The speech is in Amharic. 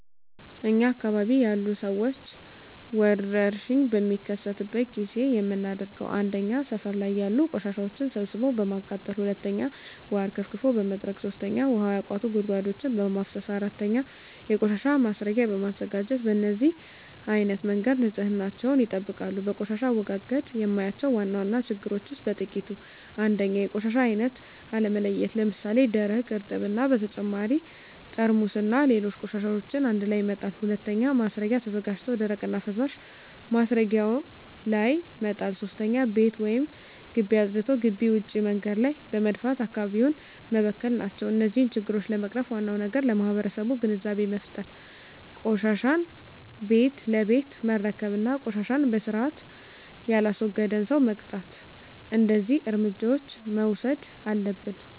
እኛ አካባቢ ያሉ ሠዎች ወርሽኝ በሚከሰትበት ጊዜ የምናደርገው 1. ሠፈር ላይ ያሉ ቆሻሻዎችን ሠብስቦ በማቃጠል 2. ውሀ አርከፍክፎ በመጥረግ 3. ውሀ ያቋቱ ጉድጓዶችን በማፋሠስ 4. የቆሻሻ ማስረጊያ በማዘጋጀት በነዚህ አይነት መንገድ ንፅህናቸውን ይጠብቃሉ። በቆሻሻ አወጋገድ የማያቸው ዋና ዋና ችግሮች ውስጥ በጥቂቱ 1. የቆሻሻ አይነት አለመለየት ለምሣሌ፦ ደረቅ፣ እርጥብ እና በተጨማሪ ጠርሙስና ሌሎች ቆሻሻዎችን አንድላይ መጣል። 2. ማስረጊያ ተዘጋጅቶ ደረቅና ፈሣሽ ማስረጊያው ላይ መጣል። 3. ቤት ወይም ግቢ አፅድቶ ግቢ ውጭ መንገድ ላይ በመድፋት አካባቢውን መበከል ናቸው። እነዚህን ችግሮች ለመቅረፍ ዋናው ነገር ለማህበረሠቡ ግንዛቤ መፍጠር፤ ቆሻሻን ቤት ለቤት መረከብ እና ቆሻሻን በስርአት የላስወገደን ሠው መቅጣት። እደዚህ እርምጃዎች መውሠድ አለብን።